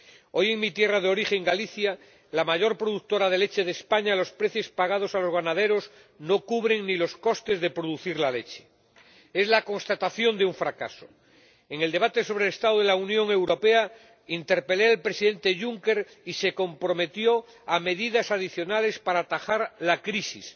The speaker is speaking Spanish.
Hoy en mi tierra de origen, Galicia, la mayor productora de leche de España, los precios pagados a los ganaderos no cubren ni los costes de producir la leche. Es la constatación de un fracaso. En el debate sobre el estado de la Unión Europea interpelé al Presidente Juncker, y se comprometió a tomar medidas adicionales para atajar la crisis.